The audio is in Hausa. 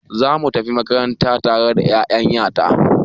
Za mu tafi makaranta tare da ya'yan ya ta.